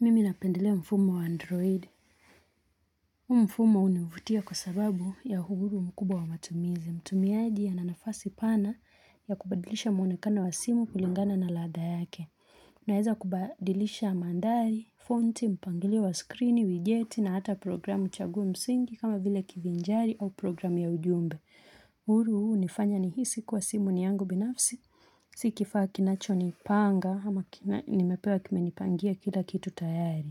Mimi napendelea mfumo wa Android. Huu mfumo hunivutia kwa sababu ya uhuru mkubwa wa matumizi. Mtumiaji ana nafasi pana ya kubadilisha mwonekano wa simu kulingana na ladha yake. Unaweza kubadilisha mandhari, fonti, mpangilio wa skrini, wijeti na hata programu chaguo msingi kama vile kivinjari au programu ya ujumbe. Uhuru huu hunifanya nihisi kuwa simu ni yangu binafsi. Si kifaa kinachonipanga ama nimepewa kimenipangia kila kitu tayari.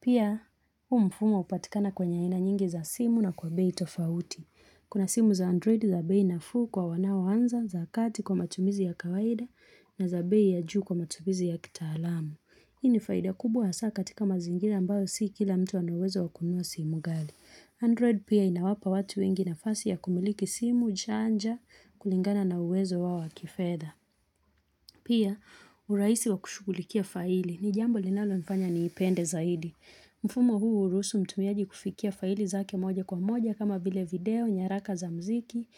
Pia, huu mfumo hupatikana kwenye aina nyingi za simu na kwa bei tofauti. Kuna simu za Android za bei nafuu kwa wanaoanza za kati kwa matumizi ya kawaida na za bei ya juu kwa matumizi ya kitaalamu. Hii ni faida kubwa hasa katika mazingira ambayo si kila mtu ana uwezo wa kunua simu ghali. Android pia inawapa watu wengi nafasi ya kumiliki simu chanja kulingana na uwezo wao wa kifedha. Pia, urahisi wa kushugulikia faili ni jambo linalonifanya niipende zaidi. Mfumo huu hurusu mtumiaji kufikia faili zake moja kwa moja kama vile video, nyaraka za muziki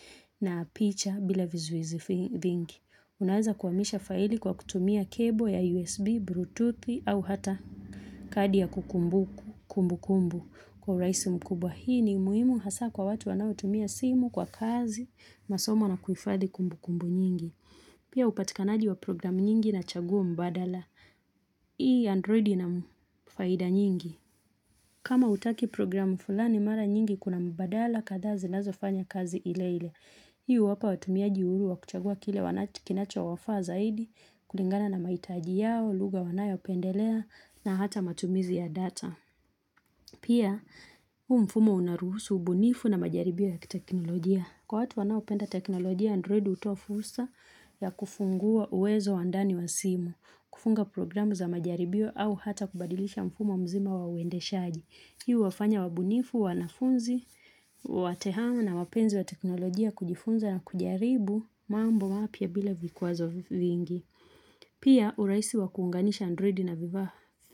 na picha bila vizuizi vingi. Unaweza kuhamisha faili kwa kutumia kebo ya USB, Bluetooth au hata kadi ya kumbukumbu kwa urahisi mkubwa. Hii ni muhimu hasa kwa watu wanaotumia simu kwa kazi, masomo na kuhifadhi kumbukumbu nyingi. Pia upatikanaji wa programu nyingi na chaguo mbadala. Hii Android ina faida nyingi. Kama hautaki programu fulani mara nyingi kuna mbadala kadhaa zinazofanya kazi ile ile. Hii huwapa watumiaji uhuru wa kuchagua kile kinachowafaa zaidi, kulingana na mahitaji yao, lugha wanayopendelea na hata matumizi ya data. Pia, huu mfumo unaruhusu ubunifu na majaribio ya kiteknolojia. Kwa watu wanaopenda teknolojia Android hutoa fursa ya kufungua uwezo wa ndani wa simu, kufunga programu za majaribio au hata kubadilisha mfumo mzima wa uendeshaji. Hii huwafanya wabunifu, wanafunzi, watehamu na wapenzi wa teknolojia kujifunza na kujaribu mambo mapya bila vikwazo vingi. Pia urahisi wa kuunganisha Android na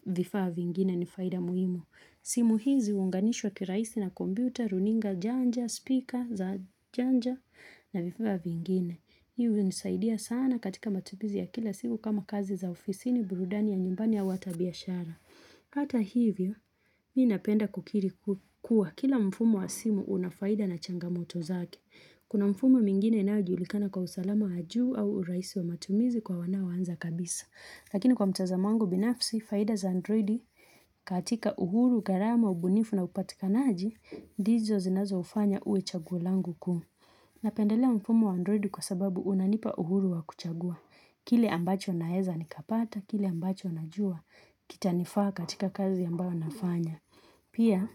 vifaa vingine ni faida muhimu. Simu hizi huunganishwa kirahisi na kompyuta, runinga janja, spika za janja na vifaa vingine. Hii hunisaidia sana katika matumizi ya kila siku kama kazi za ofisini, burudani ya nyumbani au hata biashara. Hata hivyo, mimi napenda kukiri kuwa kila mfumo wa simu una faida na changamoto zake. Kuna mfumo mingine inayojulikana kwa usalama wa juu au urahisi wa matumizi kwa wanaoanza kabisa. Lakini kwa mtazamo wangu binafsi, faida za Android katika uhuru, gharama, ubunifu na upatikanaji ndizo zinazoufanya uwe chaguo langu kuu. Napendelea mfumo wa Android kwa sababu unanipa uhuru wa kuchagua. Kile ambacho naweza nikapata, kile ambacho najua kitanifaa katika kazi ambayo nafanya. Pia,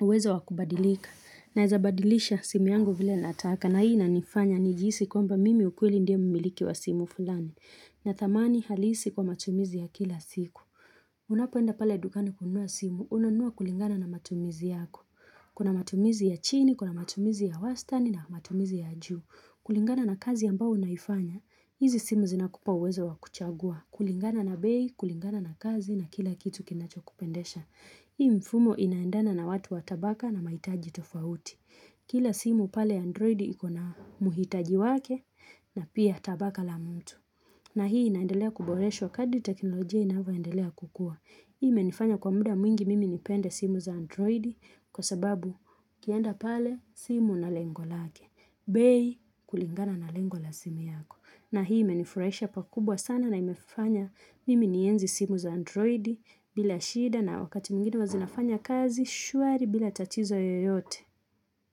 uwezo wa kubadilika. Naweza badilisha simu yangu vile nataka na hii inanifanya nijihisi kwamba mimi ukweli ndiye mmiliki wa simu fulani. Na thamani halisi kwa matumizi ya kila siku. Unapoenda pale dukani kunua simu, unanua kulingana na matumizi yako. Kuna matumizi ya chini, kuna matumizi ya wastani na matumizi ya juu. Kulingana na kazi ambayo unaifanya. Hizi simu zinakupa uwezo wa kuchagua. Kulingana na bei, kulingana na kazi na kila kitu kinachokupendesha. Hii mfumo inaendana na watu wa tabaka na mahitaji tofauti. Kila simu pale Android iko na mhitaji wake na pia tabaka la mtu. Na hii inaendelea kuboreshwa kadi teknolojia inavyoendelea kukua. Hii imenifanya kwa muda mwingi mimi nipende simu za Android kwa sababu ukienda pale simu ina lengo lake. Bei kulingana na lengo la simu yako. Na hii imenifurahisha pakubwa sana na imefanya mimi nienzi simu za Android bila shida na wakati mwingine huwa zinafanya kazi shwari bila tatizo yoyote.